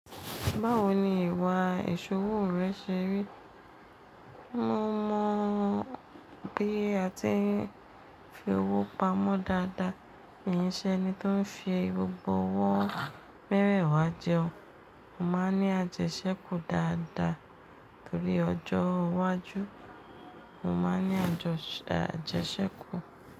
Báwo ni ìwà ìṣòwò rẹ ṣe rí? Mo mọ bí a ti ń fi owó pamọ́ dáadáa, kì í ṣe ẹni tó ń fi gbogbo ọwọ́ mẹ́wẹ̀ẹ̀wa jẹun. Mo máa ń ní àjẹsẹ́kù dáadáa torí ọjọ́ iwájú, mo má ń ní àjẹsẹ́kù.